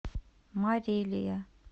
марилия